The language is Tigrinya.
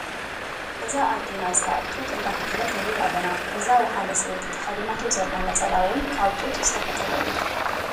እዛ ኣዴና እዚኣ ጡጥ እንዳፈተለት ንርኣ ኣለና ። እዛ ወሓለ ሰበይቲ ተከዲናቶ ዘላ ነፀላ እውን ካብ ጡጥ ዝተፈተለ እዩ ።